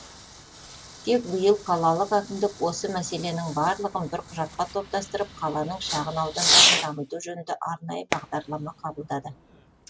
тек биыл қалалық әкімдік осы мәселенің барлығын бір құжатқа топтастырып қаланың шағын аудандарын дамыту жөнінде арнайы бағдарлама қабылдады